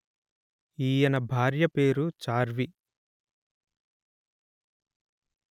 ఈయన భార్య పేరు చార్వి